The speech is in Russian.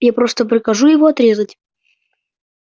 я просто прикажу его отрезать